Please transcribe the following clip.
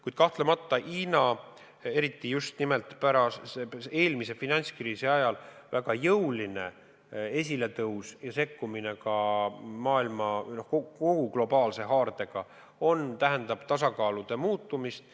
Kuid kahtlemata Hiina väga jõuline esiletõus eriti just nimelt eelmise finantskriisi ajal ja sekkumine globaalse haardega maailma asjadesse tähendab tasakaalu muutumist.